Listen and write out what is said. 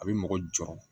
A bɛ mɔgɔ jɔɔrɔ